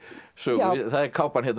sögu það er kápan